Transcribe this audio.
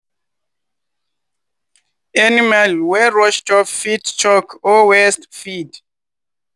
animal wey rush chop fit choke or waste feed.